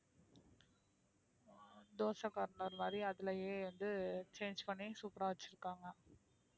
dosa corner மாதிரி அதிலேயே வந்து change பண்ணி super ஆ வச்சிருக்காங்க